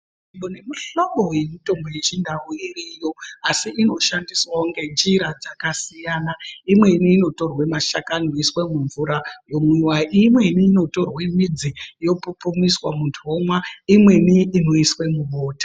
Kune mihlobo yemutombo yechindau iriyo asi inoshandiswawo ngenjira dzakasiyana imweni initorwa mashakani oiswa mumvura omwiwa imweni inotorwa midzi yopupumiswa muntu omwa imweni inoiswa mubota.